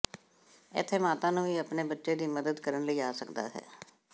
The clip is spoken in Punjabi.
ਇੱਥੇ ਮਾਤਾ ਨੂੰ ਵੀ ਆਪਣੇ ਬੱਚੇ ਦੀ ਮਦਦ ਕਰਨ ਲਈ ਆ ਸਕਦਾ ਹੈ